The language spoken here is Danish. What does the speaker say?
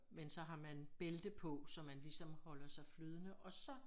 Men så har man bælte på så man ligesom holder sig flydende og så